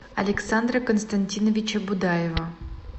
александра константиновича будаева